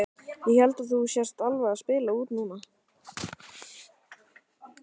Ég held að þú sért alveg að spila út núna!